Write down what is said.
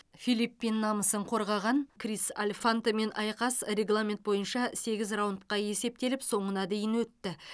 филлипин намысын қорғаған крис альфантемен айқас регламент бойынша сегіз раундқа есептеліп соңына дейін өтті